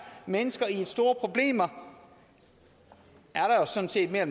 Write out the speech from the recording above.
mennesker i store problemer er sådan set mere